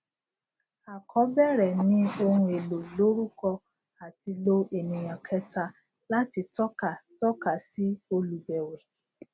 à kọ bẹrẹ ni ohun èlò lórúkọ àti lo ènìyàn kẹta láti tọka tọka sí olùbẹwẹ